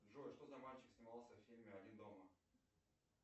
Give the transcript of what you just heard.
джой что за мальчик снимался в фильме один дома